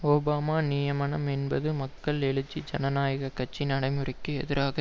Obama நியமனம் என்பது மக்கள் எழுச்சி ஜனநாயக கட்சி நடைமுறைக்கு எதிராக